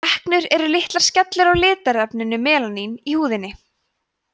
freknur eru litlar skellur af litarefninu melaníni í húðinni